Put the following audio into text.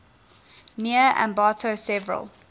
near ambato severely